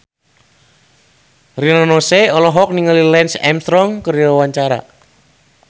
Rina Nose olohok ningali Lance Armstrong keur diwawancara